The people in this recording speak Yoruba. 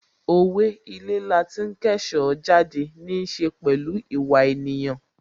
Owe' Ilé lati ń kẹ́ṣọ̀ọ́ jáde' níí ṣe pẹ̀lú ìwà ènìyàn